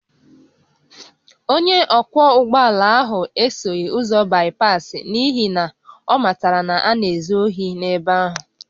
Onye ọkwọ ụgbọ ala ahụ esoghị ụzọ baịpaasị n’ihi na ọ matara na a na-ezu ohi n’ebe ahụ